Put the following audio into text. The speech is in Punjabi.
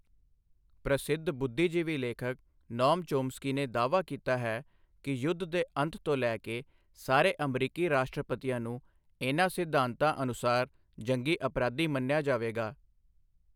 ਪ੍ਰਸਿੱਧ ਬੁੱਧੀਜੀਵੀ ਲੇਖਕ ਨੌਮ ਚੋਮਸਕੀ ਨੇ ਦਾਅਵਾ ਕੀਤਾ ਹੈ ਕਿ ਯੁੱਧ ਦੇ ਅੰਤ ਤੋਂ ਲੈ ਕੇ ਸਾਰੇ ਅਮਰੀਕੀ ਰਾਸ਼ਟਰਪਤੀਆਂ ਨੂੰ ਇਨ੍ਹਾਂ ਸਿਧਾਂਤਾਂ ਅਨੁਸਾਰ ਜੰਗੀ ਅਪਰਾਧੀ ਮੰਨਿਆ ਜਾਵੇਗਾ।